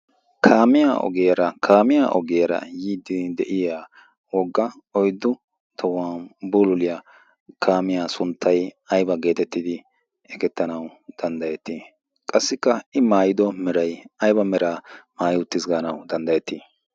kaamiya ogeera kaamiya ogeera yiiddi de'iya wogga oyddu tahuwan bululiyaa kaamiyaa sunttay ayba geetettidi ekettanau danddayettii qassikka i maayido meray ayba meraa maayi uttis gaanawu danddayettii